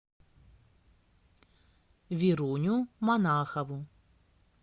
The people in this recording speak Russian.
веруню монахову